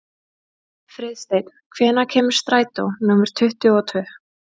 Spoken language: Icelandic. Friðsteinn, hvenær kemur strætó númer tuttugu og tvö?